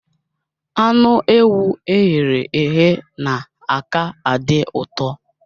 Anụ ewu e ghere eghe na-aka adị uto